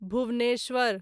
Bhubaneswar